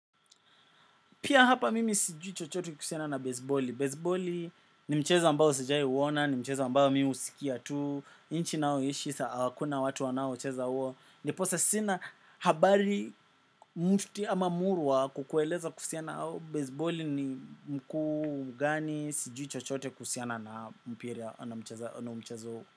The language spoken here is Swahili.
Pia hapa mimi sijui chochote kuhusiana na baseboli. Baseboli ni mchezo ambao sijai uona, ni mchezo ambayo mimi husikia tu. Inchi nao ishisa, kuna watu wanaocheza uo. Niposa sina habari mufti ama murwa kukueleza kusiana na baseboli ni mkuu gani sijui chochote kusiana na mpira na umcheza uo.